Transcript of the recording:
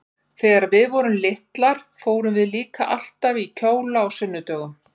Þegar við vorum litlar fórum við líka alltaf í kjóla á sunnudögum.